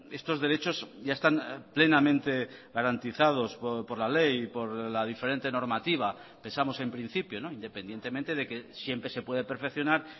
estos derechos ya están plenamente garantizados por la ley y por la diferente normativa pensamos en principio independientemente de que siempre se puede perfeccionar